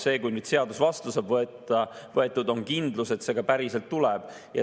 Siis, kui seadus vastu saab võetud, on kindlus, et see ka päriselt tuleb.